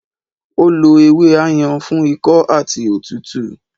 Ó lo ewé Ayan fún ikọ́ àti òtútù